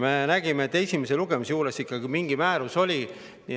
Me nägime, et esimesel lugemisel ikkagi mingi määrus oli.